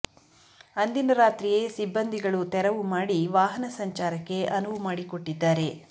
ಅಂದಿನ ರಾತ್ರಿಯೇ ಸಿಬ್ಬಂದಿಗಳು ತೆರವು ಮಾಡಿ ವಾಹನ ಸಂಚಾರಕ್ಕೆ ಅನುವು ಮಾಡಿಕೊಟ್ಟಿದ್ದಾರೆ